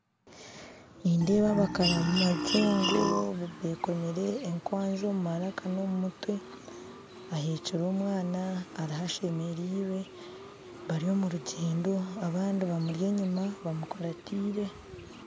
Nindeeba abakaramajongo bekomire ekwazi omu maraaka n'omu mutwe aheekire omwana ariyo ashemerirwe bari omu rugyendo abandi bamuri enyima bamukurataire